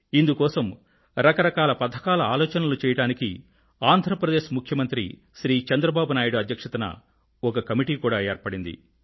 ఇందుకోసం రకరకాల పథకాల ఆలోచనలను చెయ్యడానికి ఆంధ్ర ప్రదేశ్ ముఖ్యమంత్రి శ్రీ చంద్రబాబు నాయుడు అధ్యక్ష్యతన ఒక కమిటీ కూడా ఏర్పడింది